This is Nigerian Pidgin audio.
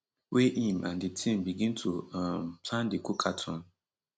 wey im and di team begin to um plan di cookathon